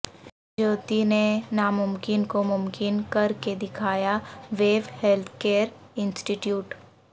جیوتی نے ناممکن کو ممکن کر کے دکھایا ویوو ہیلتھکیئر انسٹیٹیوٹ